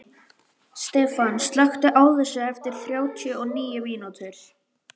Stefan, slökktu á þessu eftir þrjátíu og níu mínútur.